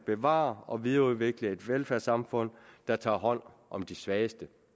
bevare og videreudvikle et velfærdssamfund der tager hånd om de svageste